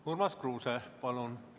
Urmas Kruuse, palun!